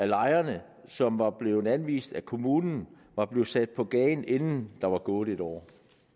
lejere som var blevet anvist af kommunen var blevet sat på gaden inden der var gået et år